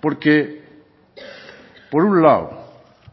porque por un lado